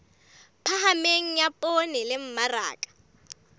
phahameng ya poone le mmaraka